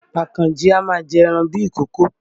Àkànjí a máa jẹ ẹran bíi ìkokò